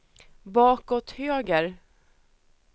bakåt höger